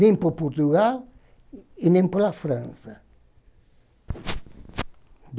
Nem para Portugal e nem para a França.